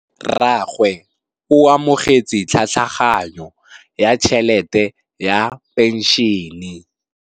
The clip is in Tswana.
Rragwe o amogetse tlhatlhaganyô ya tšhelête ya phenšene.